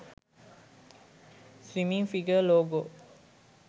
swmming figure logo